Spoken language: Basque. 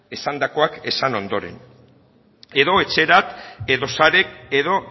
esandakoak esan ondoren edo etxerat edo sarek edo